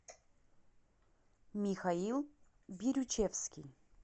михаил бирючевский